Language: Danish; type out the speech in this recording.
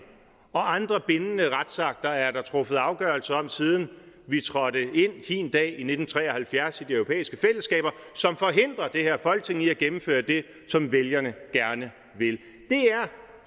og andre bindende retsakter er der truffet afgørelse om siden vi trådte ind hin dag i nitten tre og halvfjerds i de europæiske fællesskaber som forhindrer det her folketing i at gennemføre det som vælgerne gerne vil